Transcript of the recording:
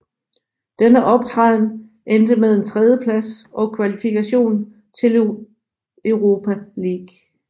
Denne optræden endte med en tredjeplads og kvalifikation til Europa League